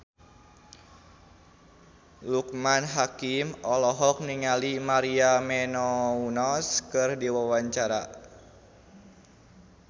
Loekman Hakim olohok ningali Maria Menounos keur diwawancara